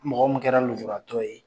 Mɔgɔ min kɛra nujuratɔ ye